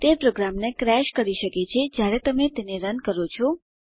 તે પ્રોગ્રામને ક્રેશ કરી શકે છે જયારે તમે તેને રન કરો છો